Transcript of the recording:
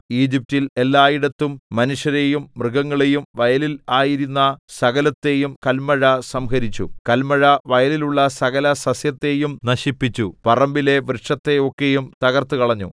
ഈജിപ്റ്റിൽ എല്ലായിടത്തും മനുഷ്യരെയും മൃഗങ്ങളെയും വയലിൽ ആയിരുന്ന സകലത്തെയും കല്മഴ സംഹരിച്ചു കല്മഴ വയലിലുള്ള സകലസസ്യത്തെയും നശിപ്പിച്ചു പറമ്പിലെ വൃക്ഷത്തെ ഒക്കെയും തകർത്തുകളഞ്ഞു